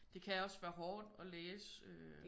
Det kan også være hårdt at læse øh